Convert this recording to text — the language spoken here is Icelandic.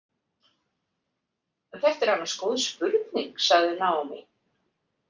Þetta er annars góð spurning, sagði Naomi.